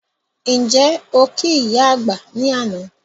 Ǹjẹ́ okí ìyá àgbà ní àná?